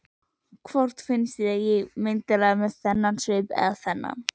Hvort finnst þér ég myndarlegri með þennan svip eða þennan?